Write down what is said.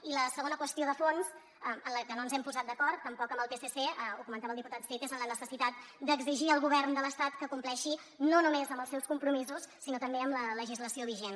i la segona qüestió de fons en la qual no ens hem posat d’acord tampoc amb el psc ho comentava el diputat cid és en la necessitat d’exigir al govern de l’estat que compleixi no només amb els seus compromisos sinó també amb la legislació vigent